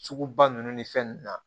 Sugu ba ninnu ni fɛn ninnu na